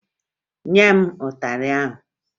Nye m ịtarị ahụ!